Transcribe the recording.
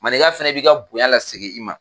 Manika fana b'i ka bonya la segin i ma.